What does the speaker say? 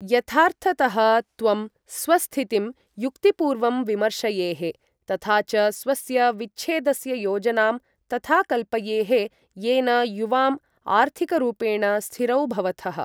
यथार्थतः, त्वं स्वस्थितिं युक्तिपूर्वं विमर्शयेः, तथा च स्वस्य विच्छेदस्य योजनां तथा कल्पयेः, येन युवाम् आर्थिकरूपेण स्थिरौ भवथः।